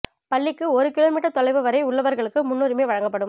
பள்ளிக்கு ஒரு kilometre தொலைவு வரை உள்ளவர்களுக்கு முன்னுரிமை வழங்கப்படும்